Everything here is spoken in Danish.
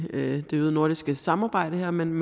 det øgede nordiske samarbejde her men